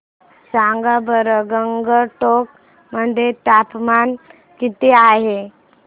सांगा बरं गंगटोक मध्ये तापमान किती आहे